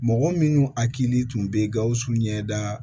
Mɔgɔ minnu hakili tun bɛ gawusu ɲɛda